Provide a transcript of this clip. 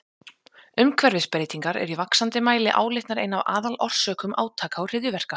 Umhverfisbreytingar eru í vaxandi mæli álitnar ein af aðalorsökum átaka og hryðjuverka.